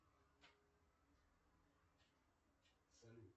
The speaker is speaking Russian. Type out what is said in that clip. салют